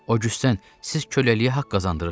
O güstan, siz köləliyə haqq qazandırırsız!